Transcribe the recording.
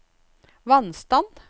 vannstand